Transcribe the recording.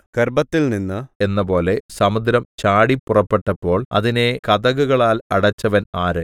ഗർഭത്തിൽനിന്ന് എന്നപോലെ സമുദ്രം ചാടിപ്പുറപ്പെട്ടപ്പോൾ അതിനെ കതകുകളാൽ അടച്ചവൻ ആര്